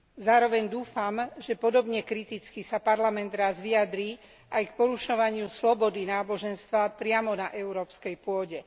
Zároveň dúfam, že podobne kriticky sa Parlament raz vyjadrí aj k porušovaniu slobody náboženstva priamo na európskej pôde.